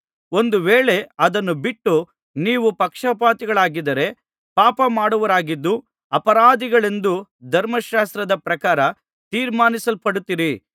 ಒಂದು ವೇಳೆ ಅದನ್ನು ಬಿಟ್ಟು ನೀವು ಪಕ್ಷಪಾತಿಗಳಾಗಿದ್ದರೆ ಪಾಪಮಾಡುವವರಾಗಿದ್ದು ಅಪರಾಧಿಗಳೆಂದು ಧರ್ಮಶಾಸ್ತ್ರದ ಪ್ರಕಾರ ತೀರ್ಮಾನಿಸಲ್ಪಡುತ್ತೀರಿ